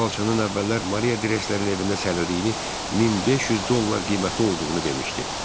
Bu xalçanın əvvəllər Maria Dresler-in evində sərildiyini, 1500 dollar qiyməti olduğunu demişdi.